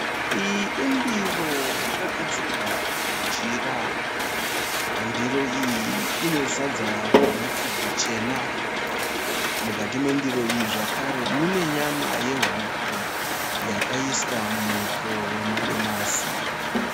Iyi indiro yakagadzikwa pajira, ndiro iyi ine sadza rehupfu hwuchena, mukati mendiro iyi zvakare mune nyama yehuku yakaiswa muto wemadomasi.